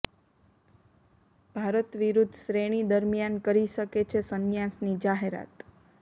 ભારત વિરૂદ્ધ શ્રેણી દરમિયાન કરી શકે છે સંન્યાસની જાહેરાત